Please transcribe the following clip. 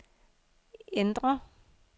ændr